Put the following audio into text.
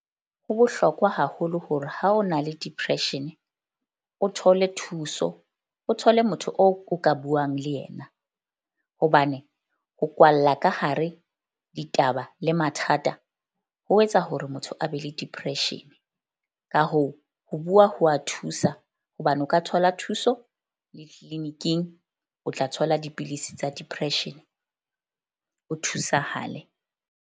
Ho bohlokwa haholo hore ha o na le depression o thole thuso, o thole motho o ka buang le yena. Hobane ho kwalla ka hare ditaba le mathata ho etsa hore motho a be le depression. Ka hoo, ho bua ho wa thusa hobane o ka thola thuso le clinic-ing o tla thola dipidisi tsa depression, o thusahale.